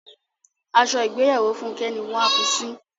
Aṣọ ìgbéyàwó Fúnkẹ́ ni wọ́n a fi sín.